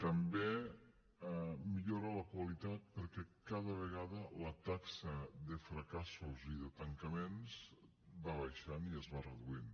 també millora la qualitat perquè cada vegada la taxa de fracassos i de tancaments va baixant i es va reduint